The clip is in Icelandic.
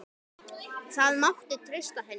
Það mátti treysta henni.